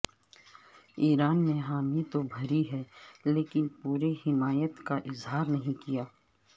ایران نے حامی تو بھری ہے لیکن پوری حمایت کا اظہار نہیں کیا